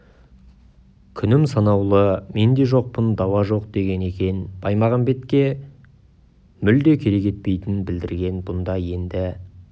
күнім санаулы мен де жоқпын дауа жоқ деген екен баймағамбетке мүлде керек етпейтінін білдірген бұнда енді